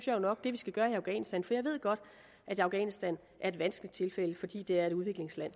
jo nok at det vi skal gøre i afghanistan for jeg ved godt at afghanistan er et vanskeligt tilfælde fordi det er et udviklingsland